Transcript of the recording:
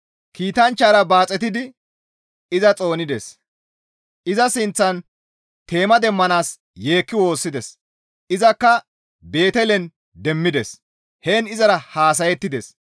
Kiitanchchara baaxetidi iza xoonides; iza sinththan teema demmanaas yeekki woossides; izakka Beetelen demmides; heen izara haasayettides.